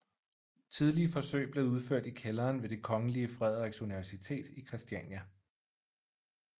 Tidlige forsøg blev udført i kælderen ved det Kongelige Frederiks Universitet i Kristiania